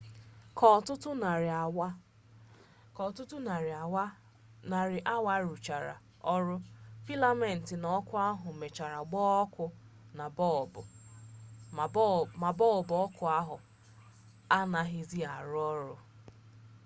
ka ọtụtụ narị awa a rụchara ọrụ filament na ọkụ ahụ mechara gbaa ọkụ ma bọlbụ ọkụ ahụ anaghịzi arụ ọrụ